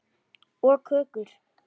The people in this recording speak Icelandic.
Og kökur.